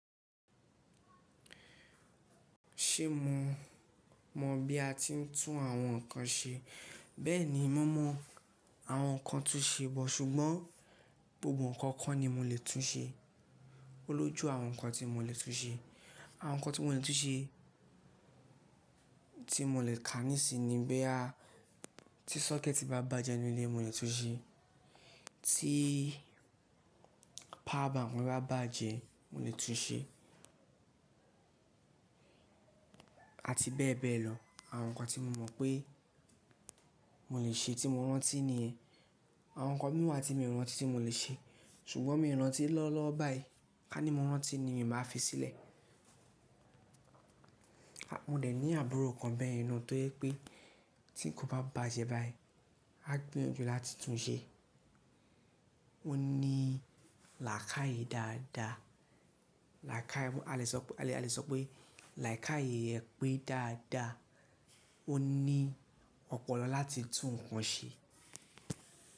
Ṣé mò mọ̀ bí a ti ń tún àwọn nǹkan ṣe? Bẹ́ẹ̀ni, mo mọ àwọn nǹkan túnṣe but ṣùgbọ́n gbogbo nǹkan kọ́ ni mo lè tún ṣe. Olójú àwọn nǹkan tí mo lè tún ṣe. Àwọn nǹkan tí mo lè túnṣe, tí mo lè kàá nísinyi ni boya ti sọ́kẹ́ẹ̀tì bá bàjẹ́ nínú ilé mo lè túnṣe, tí power bank mi bá bàjẹ́ mo lè túnṣe àti bẹ́ẹ̀ bẹ́ẹ̀ lọ. Àwọn nǹkan tí mo mọ̀ pé mo lè ṣe tí mo rántí ní yẹn. Àwọn nǹkan mìí wa tí mi ò rántí tí mo lè ṣe ṣùgbọ́n mi ò rántí lọ́wo lọwo báyìí. Ká ní mo rántí ni màá fi sílẹ̀. Mo dẹ̀ ní àbúrò kan bẹ́yen naa tó je pé tí ńkan bá bàjẹ́ báyìí á gbìyànjú láti túnṣe. Ó ní làákaye dáadáa. Làákàye, à le sọ pé làákàye rẹ pé dáadáa. Ó ní ọ̀pọ̀lọ láti tún nǹkan ṣe.